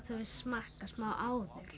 smakka smá áður